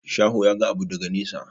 Shaho ya ga abu daga nesa.